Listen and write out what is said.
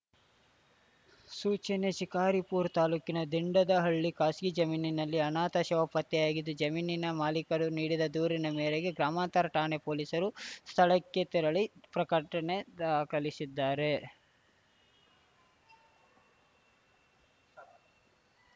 ಸೂಚನೆ ಶಿಕಾರಿಪುರ ತಾಲೂಕಿನ ದಿಂಡದಹಳ್ಳಿ ಖಾಸಗಿ ಜಮೀನಿನಲ್ಲಿ ಅನಾಥ ಶವ ಪತ್ತೆಯಾಗಿದ್ದು ಜಮೀನಿನ ಮಾಲೀಕರು ನೀಡಿದ ದೂರಿನ ಮೇರೆಗೆ ಗ್ರಾಮಾಂತರ ಠಾಣೆ ಪೊಲೀಸರು ಸ್ಥಳಕ್ಕೆ ತೆರಳಿ ಪ್ರಕಟಣೆ ದಾಖಲಿಶಿದ್ದಾರೆ